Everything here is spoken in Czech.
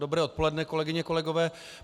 Dobré odpoledne kolegyně, kolegové.